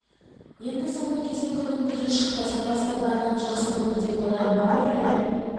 енді соңғы кезде күннің көзі шықты сапасы да барлығы жақсы болады деп ойлаймын ауа райы